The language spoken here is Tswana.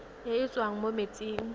e e tswang mo metsing